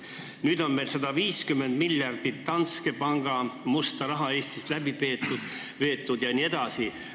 Nüüd on 150 miljardit Danske panga musta raha Eestist läbi veetud jne.